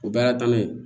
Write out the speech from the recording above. O bɛɛ y'a tana ye